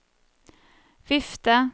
vifte